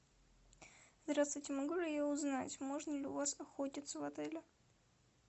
здравствуйте могу ли я узнать можно ли у вас охотиться в отеле